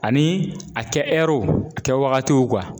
Ani a kɛ w a kɛ wagatiw